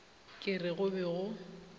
ke re go be go